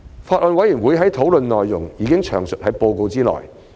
法案委員會的討論內容已詳述在報告內。